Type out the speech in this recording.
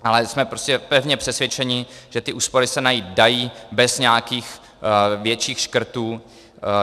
Ale jsme prostě pevně přesvědčeni, že ty úspory se najít dají bez nějakých větších škrtů.